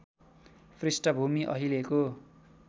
पृष्ठभूमि अहिलेको